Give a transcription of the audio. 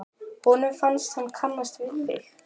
Honum fannst hann kannast við þig.